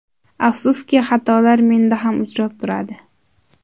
Afsuski, xatolar menda ham uchrab turadi.